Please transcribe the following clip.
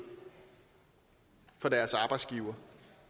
af deres arbejdsgivere